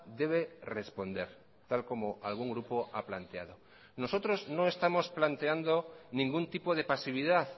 debe responder tal como algún grupo ha planteado nosotros no estamos planteando ningún tipo de pasividad